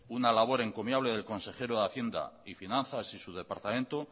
una labor encomiable del consejero de hacienda y finanzas y su departamento